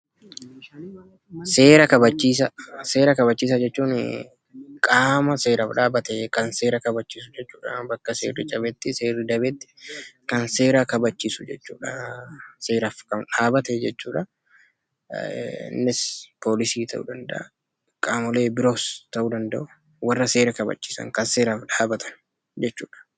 Seera kabachiisaa jechuun qaama seeraaf dhaabbatee kan seera kabachiisu jechuudha. Bakka seerri cabetti, seerri dabetti kan seera kabachiisu jechuudha. Seeraaf kan dhaabate jechuudha. Innis poolisii ta'uu danda'a, qaamolee biroos ta'uu danda'u, warra seera kabachiisan, kan seeraaf dhaabatan jechuudha.